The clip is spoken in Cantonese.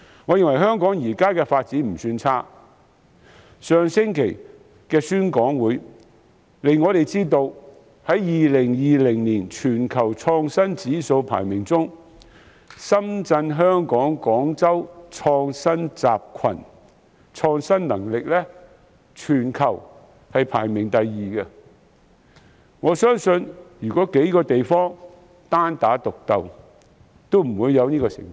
我認為香港現時的發展不算差，上星期的宣講會亦讓我們知道在2020年全球創新指數排名中，深圳—香港—廣州創新集群的創新能力在全球排名第二，相信如這數個地方單打獨鬥將不會有這好成績。